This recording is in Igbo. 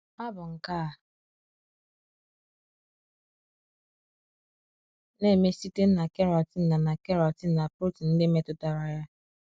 Ha bụ nke a na - eme site na keratin na na keratin na protein ndị metụtara ya.